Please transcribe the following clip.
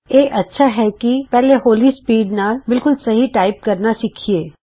ਇਹ ਚੰਗੀ ਗੱਲ ਹੈ ਕਿ ਪਹਿਲੇ ਹੌਲੀ ਸਪੀਡ ਨਾਲ ਬਿਲਕੁਲ ਸਹੀ ਟਾਈਪ ਕਰਨਾ ਸਿੱਖੀਏ